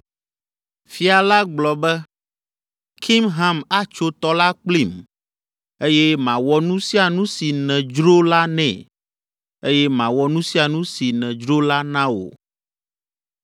Fia la gblɔ be, “Kimham atso tɔ la kplim eye mawɔ nu sia nu si nèdzro la nɛ eye mawɔ nu sia nu si nèdzro la na wò.”